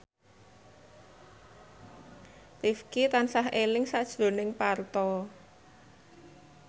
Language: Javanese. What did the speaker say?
Rifqi tansah eling sakjroning Parto